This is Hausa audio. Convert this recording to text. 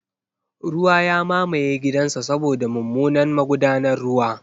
Ruwa ya mamaye gidansa saboda mummunan magudanar ruwa.